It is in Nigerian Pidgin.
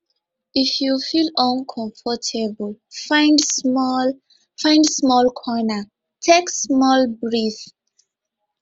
if you feel uncomfortable find small find small corner take small breath